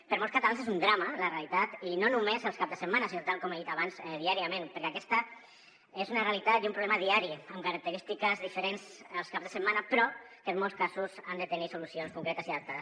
per a molts catalans és un drama la realitat i no només els caps de setmana sinó tal com he dit abans diàriament perquè aquesta és una realitat i un problema diari amb característiques diferents els caps de setmana però que en molts casos han de tenir solucions concretes i adaptades